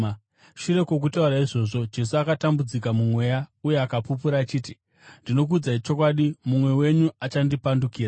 Shure kwokutaura izvozvo, Jesu akatambudzika mumweya uye akapupura achiti, “Ndinokuudzai chokwadi, mumwe wenyu achandipandukira.”